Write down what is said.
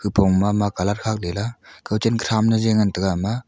nipong mama colour khaklela kauchenka thamle je ngantaga ama.